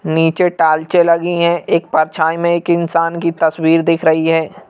नीचे टालचें लगी हैं एक परछाई में एक इंसान की तस्वीर दिख रही है।